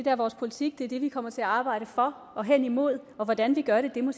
er vores politik det er det vi kommer til at arbejde for og hen imod og hvordan vi gør det må